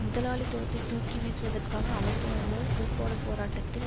முதலாளித்துவத்தை தூக்கி வீசுவதற்காக அவசியமோ பூகோள போராட்டத்தின்